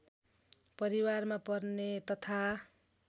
परिवारमा पर्ने तथा